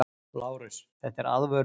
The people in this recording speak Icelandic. LÁRUS: Þetta er aðvörun!